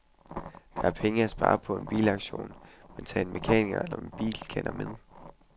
Der er penge at spare på en bilauktion, men tag en mekaniker eller bilkender med.